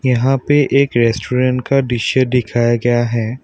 यहां पे एक रेस्टोरेंट का दृश्य दिखाया गया है।